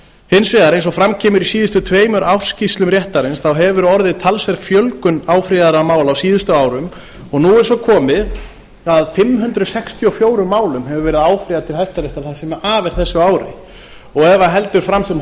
hins vegar eins og fram kemur í síðustu tveimur ársskýrslum réttarins hefur orðið talsverð fjölgun áfrýjaðra mála á síðustu árum og nú er svo komið að fimm hundruð sextíu og fjögur málum hefur verið áfrýjað til hæstaréttar það sem af er þessu ári ef það heldur fram sem